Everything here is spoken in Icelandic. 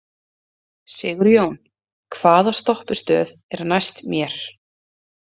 Sigjón, hvaða stoppistöð er næst mér?